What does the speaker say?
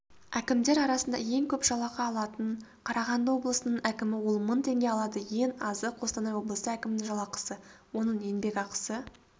әкімдер арасында ең көп жалақы алатын қарағанды облысының әкімі ол мың теңге алады ең азы қостанай облысы әкімінің жалақысы оның еңбекақысы